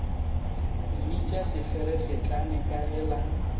mmitša seferefetlane ka ge la